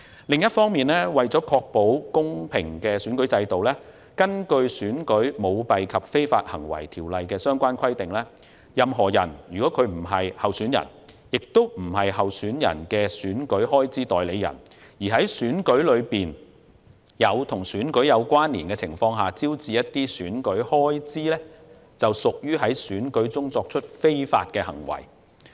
另一方面，為確保公平選舉，《選舉條例》規定，"任何人如非候選人亦非候選人的選舉開支代理人而在選舉中或在與選舉有關連的情況下招致選舉開支，即屬在選舉中作出非法行為"。